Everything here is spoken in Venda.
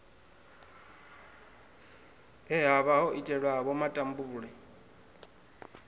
he havha ho itelwavho matambule